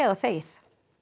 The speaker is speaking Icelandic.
þegið